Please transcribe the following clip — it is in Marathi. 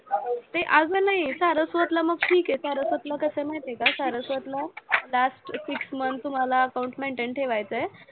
ते असं नाही, सारस्वतला मग ठिके आहे, सारस्वतला कसं आहे माहिती आहे का सारस्वतला last six months तुम्हाला account maintain ठेवायचं